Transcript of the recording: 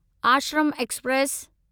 Ashram express